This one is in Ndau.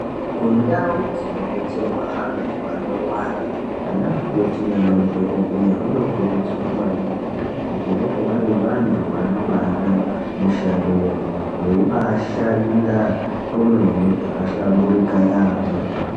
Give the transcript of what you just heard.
Kundau dzinodetserwa antu anorwara anamukoti nanadhokodheya vanokurudzirwa maningi kuti vange vari vantu vanombaada mushando yavo veimbashanda kwemene zvakahlaburika yampho.